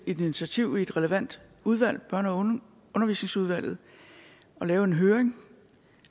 et initiativ i et relevant udvalg børne og undervisningsudvalget og lave en høring